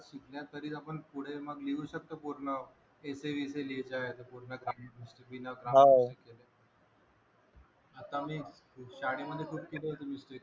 आपण पुढे मग लिहू शकतो पूर्ण ऐसे आता मी शाळेमध्ये